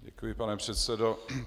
Děkuji, pane předsedo.